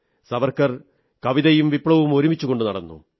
സാവർക്കർ കവിതയും വിപ്ലവവും ഒരുമിച്ചു കൊണ്ടുനടന്നു